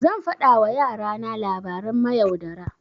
Zan faɗa wa yara na labaran mayaudara.